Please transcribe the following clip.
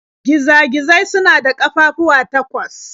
Giza-gizai suna da ƙafafuwa takwas.